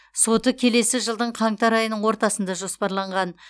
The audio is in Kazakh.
соты келесі жылдың қаңтар айының ортасына жоспарланған